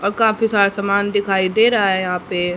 और काफी सारा सामान दिखाई दे रहा है यहां पे--